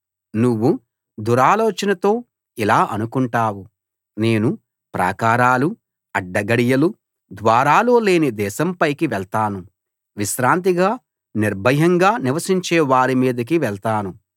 నువ్వు దురాలోచనతో ఇలా అనుకుంటావు నేను ప్రాకారాలు అడ్డగడియలు ద్వారాలు లేని దేశం పైకి వెళ్తాను విశ్రాంతిగా నిర్భయంగా నివసించే వారి మీదికి వెళ్తాను